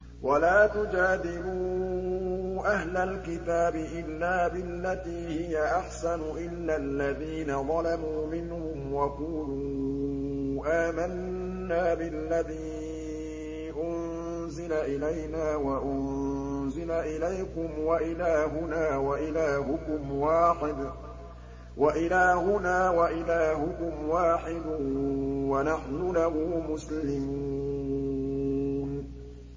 ۞ وَلَا تُجَادِلُوا أَهْلَ الْكِتَابِ إِلَّا بِالَّتِي هِيَ أَحْسَنُ إِلَّا الَّذِينَ ظَلَمُوا مِنْهُمْ ۖ وَقُولُوا آمَنَّا بِالَّذِي أُنزِلَ إِلَيْنَا وَأُنزِلَ إِلَيْكُمْ وَإِلَٰهُنَا وَإِلَٰهُكُمْ وَاحِدٌ وَنَحْنُ لَهُ مُسْلِمُونَ